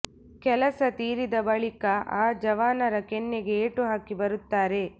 ಕೆಲಸ ತೀರಿದ ಬಳಿಕ ಆ ಜವಾನರ ಕೆನ್ನೆಗೆ ಏಟು ಹಾಕಿ ಬರುತ್ತಾರೆ